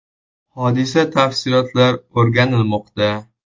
“Hodisa tafsilotlar o‘rganilmoqda.